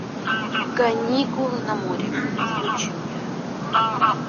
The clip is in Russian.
каникулы на море включи мне